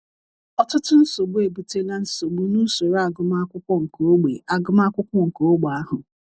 Ọtụtụ nsogbu ebutela nsogbu n’usoro agụmakwụkwọ nke ógbè agụmakwụkwọ nke ógbè ahụ.